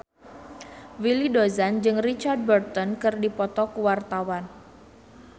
Willy Dozan jeung Richard Burton keur dipoto ku wartawan